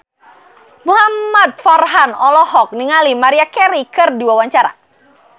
Muhamad Farhan olohok ningali Maria Carey keur diwawancara